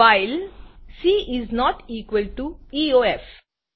while c is not equal to EOF